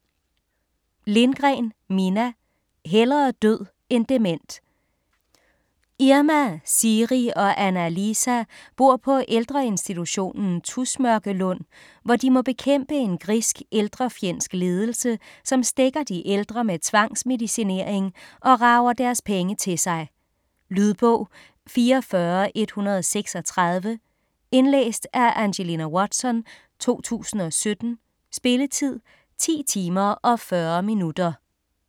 Lindgren, Minna: Hellere død end dement Irma, Siiri og Anna-Liisa bor på på ældreinstitutionen Tusmørkelund, hvor de må bekæmpe en grisk, ældrefjendsk ledelse, som stækker de ældre med tvangsmedicinering og rager deres penge til sig. Lydbog 44136 Indlæst af Angelina Watson, 2017. Spilletid: 10 timer, 40 minutter.